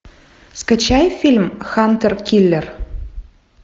скачай фильм хантер киллер